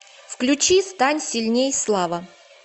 включи стань сильней слава